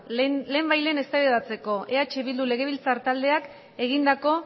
lehenbailehen eztabaidatzeko eh bildu legebiltzar taldeak egindako